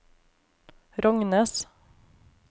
Rognes